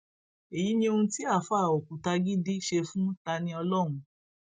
èyí ni ohun tí àáfà òkùtagídí ṣe fún taniọlọhun